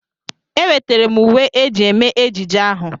Ewetara m uwe eji eme ejije ahụ.